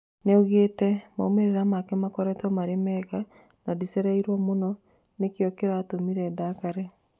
Nĩoigĩte "Maumĩrĩra make makoretwo marĩ mega na ndicereirwo mũno, nĩkĩo kĩratũmire ndakare"